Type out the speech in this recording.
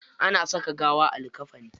Ana saka gawa a likkafani.